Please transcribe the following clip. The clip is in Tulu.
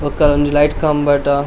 ಬೊಕ ಒಂಜಿ ಲೈಟ್ ಕಂಬಡ.